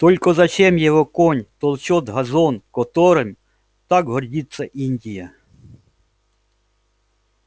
только зачем его конь топчёт газон которым так гордится индия